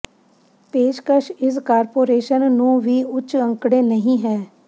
ਪੇਸ਼ਕਸ਼ ਇਸ ਕਾਰਪੋਰੇਸ਼ਨ ਨੂੰ ਵੀ ਉੱਚ ਅੰਕੜੇ ਨਹੀ ਹੈ